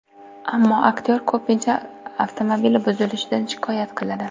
Ammo aktyor ko‘pincha avtomobili buzilishidan shikoyat qiladi.